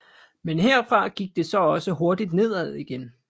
Men herfra gik det så også hurtigt nedad igen